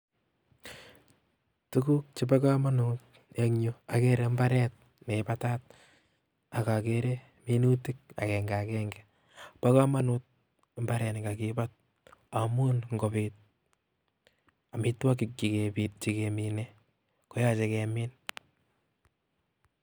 Tuguk chebo kamanutenyu akere mbaret neibatat akakere minutik akenge akenge bo komonut mbaret ne kakibat amun ngobit amitwogik chekemine koyochei kemin.